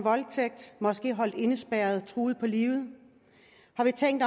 måske holdt indespærret og truet på livet har vi tænkt